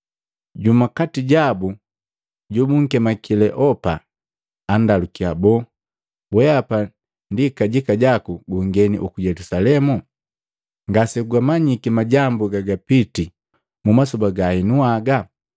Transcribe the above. Jumu kati jabu, jobunkemika Kileopa, andalukiya, “Boo, weapa ndi kajika jaku gu ngeni uku Yelusalemu, ngasegumanyiki majambu gagapiti mu masoba ga heno haga?”